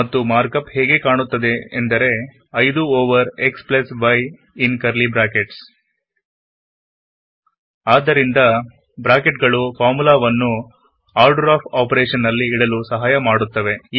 ಮತ್ತು ಮಾರ್ಕಪ್ ಹೇಗೆ ಕಾಣುತ್ತದೆಂದರೆ5 over xy in curly brackets ಆದ್ದರಿಂದ ಬ್ರಾಕೆಟ್ ಗಳು ಫಾರ್ಮುಲಾವನ್ನು ಆರ್ಡರ್ ಆಫ್ ಆಫೊರೇಷನ್ ನಲ್ಲಿ ಇಡಲು ಸಹಾಯ ಮಾಡುತ್ತಡೆ